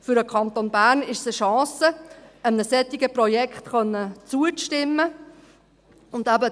Für den Kanton Bern ist es eine Chance, einem solchen Projekt zustimmen zu können.